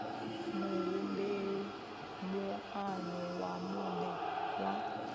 muhumbeli moano wa muṋe wa